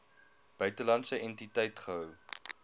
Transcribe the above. buitelandse entiteit gehou